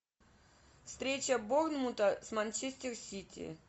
встреча борнмута с манчестер сити